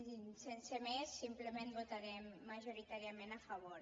i sense més simplement votarem majoritàriament a favor